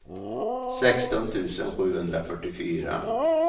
sexton tusen sjuhundrafyrtiofyra